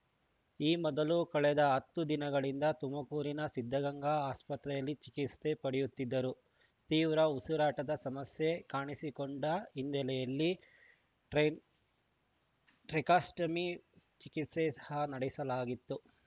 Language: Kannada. ಈ ಮೊದಲು ಕಳೆದ ಹತ್ತು ದಿನಗಳಿಂದ ತುಮಕೂರಿನ ಸಿದ್ಧಗಂಗಾ ಆಸ್ಪತ್ರೆಯಲ್ಲಿ ಚಿಕಿತ್ಸೆ ಪಡೆಯುತ್ತಿದ್ದರು ತೀವ್ರ ಉಸಿರಾಟದ ಸಮಸ್ಯೆ ಕಾಣಿಸಿಕೊಂಡ ಹಿನ್ನೆಲೆಯಲ್ಲಿ ಟ್ರೈಲ್ ಟ್ರಿಕಾಸ್ಟಮಿ ಚಿಕಿತ್ಸೆ ಸಹ ನಡೆಸಲಾಗಿತ್ತು